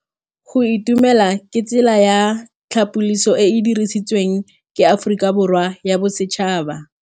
Go itumela ke tsela ya tlhapolisô e e dirisitsweng ke Aforika Borwa ya Bosetšhaba.